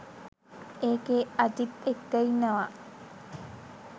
ඒකෙ අජිත් එක්ක ඉන්නවා